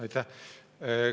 Aitäh!